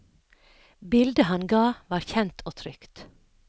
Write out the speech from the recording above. Bildet han ga var kjent og trygt.